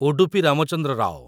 Udupi Ramachandra Rao